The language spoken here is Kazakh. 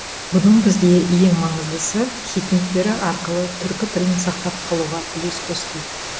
бұның бізге ең маңыздысы хикметтері арқылы түркі тілін сақтап қалуға үлес қосты